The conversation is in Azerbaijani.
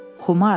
Xumar.